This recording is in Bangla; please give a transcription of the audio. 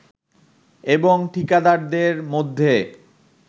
এবং ঠিকাদারদের মধ্যে